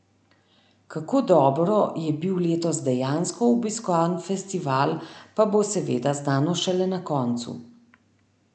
Kako dobro je bil letos dejansko obiskan festival, pa bo seveda znano šele na koncu.